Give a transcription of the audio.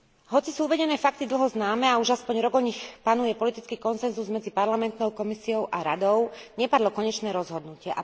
Hoci sú uvedené fakty dlho známe a už aspoň rok o nich panuje politický konsenzus, medzi Parlamentom, Komisiou a Radou nepadlo konečné rozhodnutie.